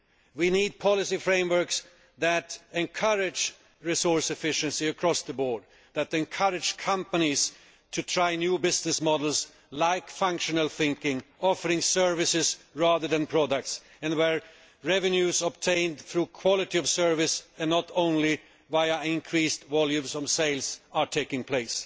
We need policy frameworks that encourage resource efficiency across the board, that encourage companies to try new business models like functional thinking offering services rather than products, and where revenues obtained through quality of service, and not only via increased volumes from sales, are taking place.